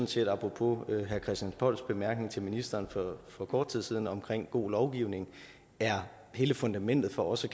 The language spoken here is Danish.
set apropos herre christian polls bemærkning til ministeren for kort tid siden om god lovgivning er hele fundamentet for også